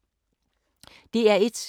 DR1